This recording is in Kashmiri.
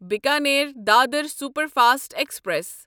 Bikaner Dadar superfast express